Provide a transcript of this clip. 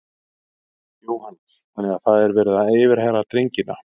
Jóhannes: Þannig að það er verið að yfirheyra drengina?